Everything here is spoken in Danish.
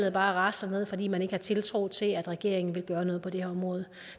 er bare raslet ned fordi man ikke har tiltro til at regeringen vil gøre noget på det område